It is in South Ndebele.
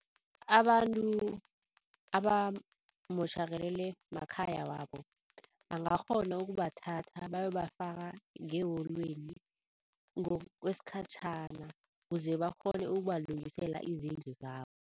Abantu abamotjhakalelwe makhaya wabo bangakghona ukubathatha bayobafaka ngeholweni ngokwesikhatjhana kuze bakghone ukubalungisela izindlu zabo.